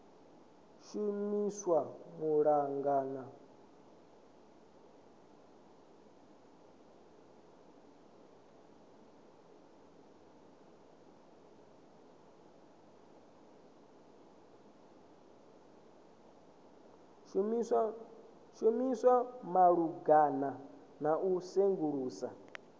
shumiswa malugana na u sengulusa